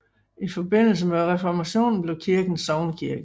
I forbindelse med Reformationen blev kirken sognekirke